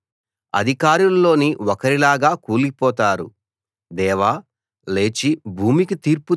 అయినా ఇతరుల్లాగే మీరూ చనిపోతారు అధికారుల్లోని ఒకరిలాగా కూలిపోతారు